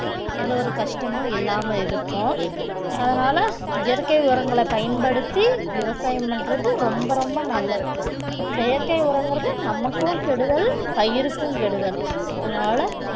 எந்த ஒரு கஷ்டமும் இல்லாம இருக்கும் அதனால இயற்கை உரங்களை பயன்படுத்தி விவசாயம் பண்றது ரொம்ப ரொம்ப நல்லது செயற்கை உரங்கிறது நமக்கும் கெடுதல், பயிருக்கும் கெடுதல் அதனால